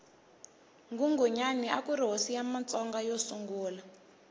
nghunghunyani akuri hosi ya matsonga yo sungula